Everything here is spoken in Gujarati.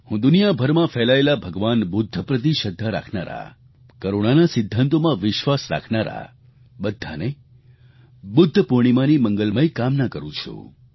હું દુનિયાભરમાં ફેલાયેલા ભગવાન બુદ્ધ પ્રતિ શ્રદ્ધા રાખનારા કરૂણાના સિદ્ધાંતોમાં વિશ્વાસ રાખનારા બધાને બુદ્ધ પૂર્ણિમાની મંગલમય કામના કરું છું